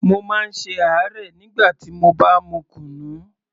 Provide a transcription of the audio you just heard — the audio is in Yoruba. Mo má ń ṣe àárẹ̀ nígbà tí mo bá mu kunu